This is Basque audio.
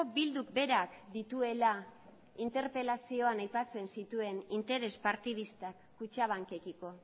bilduk berak dituela interpelazioan aipatzen dituen interes partidistak kutxabankekiko